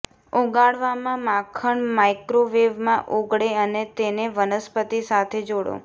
ઓગાળવામાં માખણ માઇક્રોવેવમાં ઓગળે અને તેને વનસ્પતિ સાથે જોડો